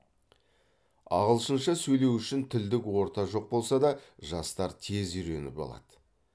ағылшынша сөйлеу үшін тілдік орта жоқ болса да жастар тез үйреніп алады